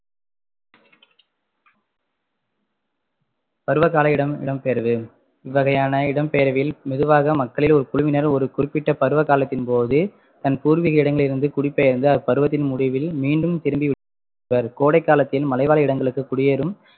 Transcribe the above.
பருவகால இடம்~ இடம்பெயர்வு இவ்வகையான இடம்பெயர்வில் மெதுவாக மக்களில் ஒரு குழுவினர் ஒரு குறிப்பிட்ட பருவ காலத்தின்போது தன் பூர்வீக இடங்களில் இருந்து குடிபெயர்ந்து அப்பருவத்தின் முடிவில் மீண்டும் திரும்பி விடுவர் கோடைகாலத்தில் மலைவாழ் இடங்களுக்கு குடியேறும்